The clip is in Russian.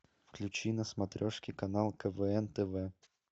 включи на смотрешке канал квн тв